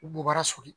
Bubaga soli